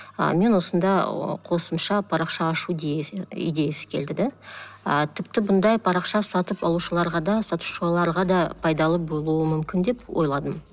ы мен осында қосымша парақша ашу идеясы келді де ы тіпті бұндай парақша сатып алушыларға да сатушыларға да пайдалы болуы мүмкін деп ойладым